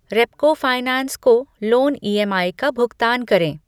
Repco finance को loan EMI का भुगतान करें ।